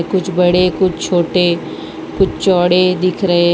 कुछ बड़े कुछ छोटे कुछ चौड़े दिख रहे है।